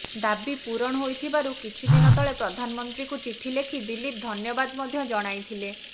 ଦାବି ପୂରଣ ହୋଇଥିବାରୁ କିଛି ଦିନ ତଳେ ପ୍ରଧାନମନ୍ତ୍ରୀଙ୍କୁ ଚିଠି ଲେଖି ଦିଲୀପ ଧନ୍ୟବାଦ ମଧ୍ୟ ଜଣାଇଥିଲେ